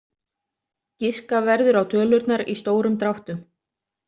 Giska verður á tölurnar í stórum dráttum.